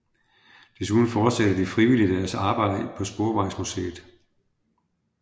Desuden fortsatte de frivillige deres arbejde på Sporvejsmuseet